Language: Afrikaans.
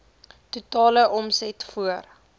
totale omset voor